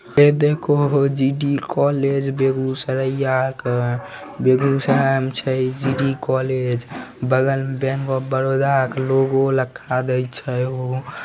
ये देखो हो जी.डी. कॉलेज बेगुसरइया का बेगुसराई में छे जी.डी. कॉलेज । बगल में बैंक ऑफ बरोड़ा के लोगों लखा देइ छई ओ।